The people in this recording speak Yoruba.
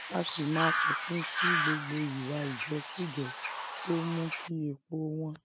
á sì máa fòpin sí gbogbo ìwà ìjẹkújẹ tó ń mú kí epo wọn